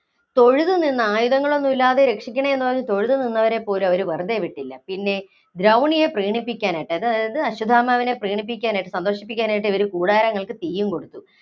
തൊഴുതു നിന്ന, ആയുധങ്ങളൊന്നുമില്ലാതെ രക്ഷിക്കണേ എന്ന് തൊഴുതു നിന്നവരെ പോലും അവര്‍ വെറുതേ വിട്ടില്ല. പിന്നെ ദ്രൗണിയെ പ്രീണിപ്പിക്കാനായിട്ട് അതായത് അശ്വത്ഥാമാവിനെ സന്തോഷിപ്പിക്കാനായിട്ട് ഇവര് കൂടാരങ്ങള്‍ക്ക് തീയും കൊടുത്തു.